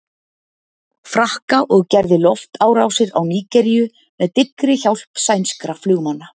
Frakka og gerði loftárásir á Nígeríu með dyggri hjálp sænskra flugmanna.